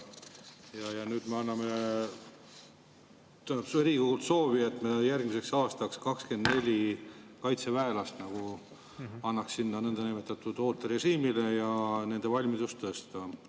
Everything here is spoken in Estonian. Ja nüüd Riigikogule soovi, et me järgmiseks aastaks nagu annaksime 24 kaitseväelast sinna niinimetatud ooterežiimile, et õppustega nende valmidust tõsta.